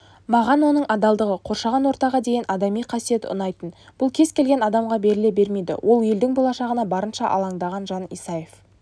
маған оның адалдығы қоршаған ортаға деген адами қасиеті ұнайтын бұл кез-келген адамға беріле бермейді ол елдің болашағына барынша алаңдаған жан исаев